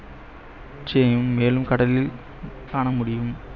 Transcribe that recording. மேலும் கடலில் காணமுடியும்.